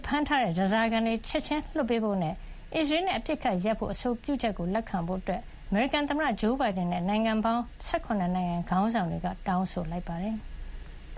ဖမ်းထားတဲ့ ဓါးစာခံတွေ ချက်ချင်းလွှတ်ပေးဖို့နဲ့ အစ္စရေးနဲ့ အပစ်အခတ်ရပ်စဲဖို့ အဆိုပြုချက်ကိုလက်ခံဖို့ အမေရိကန်သမ္မတဂျိုးဘိုင်ဒန်နဲ့ နိုင်ငံပေါင်း ၁၇ နိုင်ငံ ခေါင်းဆောင်တွေက တောင်းဆိုလိုက်ပါတယ်။